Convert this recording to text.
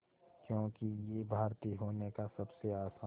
क्योंकि ये भारतीय होने का सबसे आसान